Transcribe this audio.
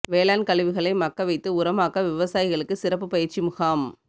வேளாண் கழிவுகளை மக்க வைத்து உரமாக்க விவசாயிகளுக்கு சிறப்பு பயிற்சி முகாம்